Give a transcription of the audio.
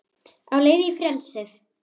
Á leið í frelsið